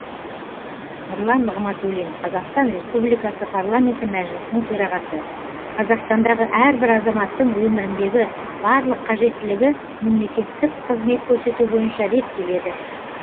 нұрлан нығматулин қазақстан республикасы парламенті мәжілісінің төрағасы қазақстандағы әрбір азаматтың өміріндегі барлық қажеттілігі мемлекеттік қызмет көрсету бойынша реттеледі